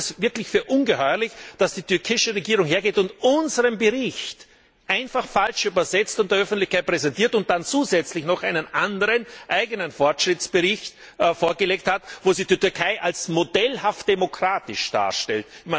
Ich meine, ich fand es wirklich ungeheuerlich, dass die türkische Regierung hergeht und unseren Bericht einfach falsch übersetzt und der Öffentlichkeit präsentiert und dann zusätzlich noch einen anderen eigenen Fortschrittsbericht vorgelegt hat, wo sie die Türkei als modellhaft demokratisch darstellt.